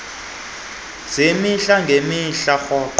zemihla ngemihla rhoqo